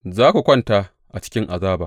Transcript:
Za ku kwanta a cikin azaba.